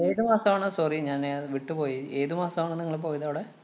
ഏതു മാസാണ് sorry ഞാനേ വിട്ടുപോയി. ഏതു മാസാണ് നിങ്ങള് പോയതവിടെ?